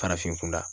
Farafin kunda